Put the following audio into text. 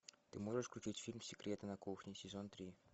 ты можешь включить фильм секреты на кухне сезон три